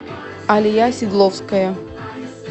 алия сидловская